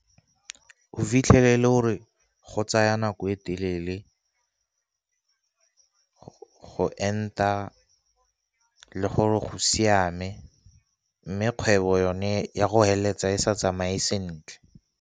O fitlhelele e le gore go tsaya nako e telele go enta le gore go siame, mme kgwebo yone ya go heleletsa e sa tsamaye sentle.